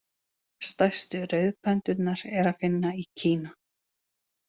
Stærstu rauðpöndurnar er að finna í Kína.